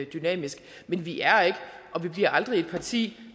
dynamisk men vi er ikke og vi bliver aldrig et parti